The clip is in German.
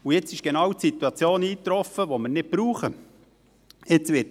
Jetzt ist genau die Situation eingetroffen, die wir nicht gebrauchen können.